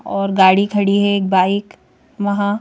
और गाड़ी खड़ी है एक बाइक वहाँ--